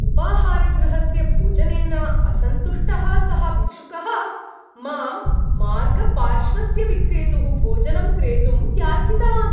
उपाहारगृहस्य भोजनेन असन्तुष्टः सः भिक्षुकः माम् मार्गपार्श्वस्य विक्रेतुः भोजनं क्रेतुं याचितवान्।